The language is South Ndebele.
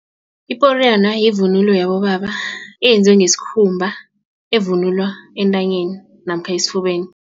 Iporiyana yivunulo yabobaba eyenziwe ngesikhumba esivunulwa entanyeni namkha esifubeni.